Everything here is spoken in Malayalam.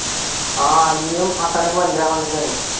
ആഹ് അനിയൻ ഹസ്സനെ കൊണ്ട്രാൻ വന്ന്ക്കണേ